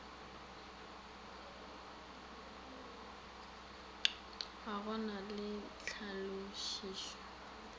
ga go na le tlhalošišo